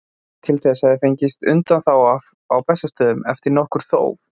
Til þess hafði fengist undanþága á Bessastöðum eftir nokkurt þóf.